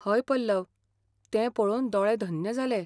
हय पल्लव! तें पळोवन दोळे धन्य जाले.